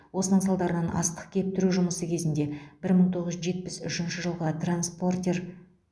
осының салдарынан астық кептіру жұмысы кезінде бір мың тоғыз жүз жетпіс үшінші жылғы транспортер